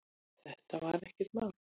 Þetta var ekkert mál.